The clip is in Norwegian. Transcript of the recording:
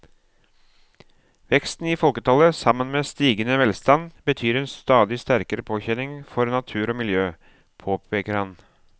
Veksten i folketallet sammen med stigende velstand betyr en stadig sterkere påkjenning for natur og miljø, påpeker han.